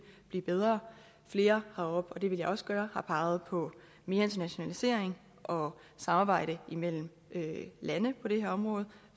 blive bedre flere heroppe og det vil jeg også gøre har peget på mere internationalisering og samarbejde imellem lande på det her område